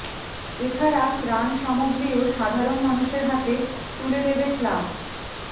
এছাড়া ত্রাণ সামগ্রিও সাধারণ মানুষের হাতে তুলে দেবে ক্লাব